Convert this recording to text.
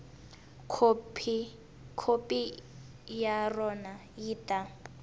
khopi ya rona yi ta